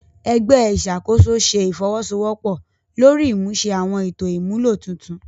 Ẹgbẹ iṣakoso ṣe ifowosowopo lori imuse awọn eto imulo tuntun